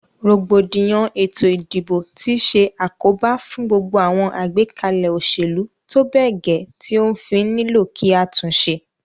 Rògbòdìyàn ètò ìdìbò ti se àkóbá fún gbogbo àwon àgbékalè òsèlú tóbè gè ti ó fí nílò kí a túnse